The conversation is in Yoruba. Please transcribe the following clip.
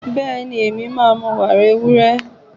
Bẹ́ẹ̀ni, màá mu wàrà ewúrẹ́